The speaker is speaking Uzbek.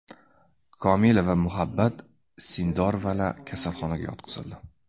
Komila va Muhabbat Sindorovalar kasalxonaga yotqizildi.